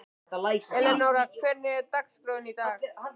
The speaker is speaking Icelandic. Elenóra, hvernig er dagskráin í dag?